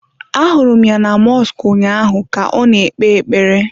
Ahụrụ m ya na mọsk ụnyaahụ ka ọ na-ekpe ekpere.